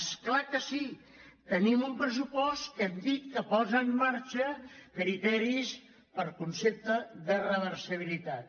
és clar que sí tenim un pressupost que hem dit que posa en marxa criteris per concepte de reversibi·litat